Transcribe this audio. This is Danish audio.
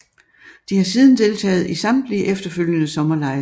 De har siden deltaget i samtlige efterfølgende sommerlege